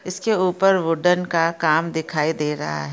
इसके ऊपर वूडन का काम दिखाई दे रहा हैं ।